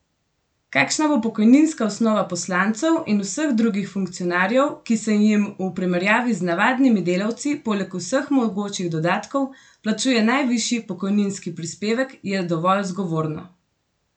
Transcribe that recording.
Kakšna bo pokojninska osnova poslancev in vseh drugih funkcionarjev, ki se jim v primerjavi z navadnimi delavci poleg vseh mogočih dodatkov plačuje najvišji pokojninski prispevek je dovolj zgovorno!